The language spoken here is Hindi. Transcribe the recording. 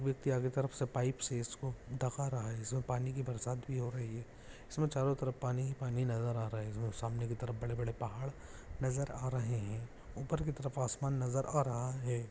कोई व्यक्ति आगे की तरफ से पाइप से इसको ढका रहा है इसमें पानी की बरसात भी हो रही है इसमें चारो तरफ पानी ही पानी नजर आ रहा है इसमें सामने की तरफ बड़े बड़े पहाड़ नजर आ रहे हैं ऊपर की तरफ आसमान नजर आ रहा है।